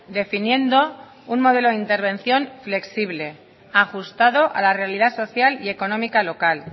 definiendo un modelo de intervención flexible ajustado a la realidad social y económica local